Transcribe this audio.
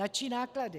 Na čí náklady?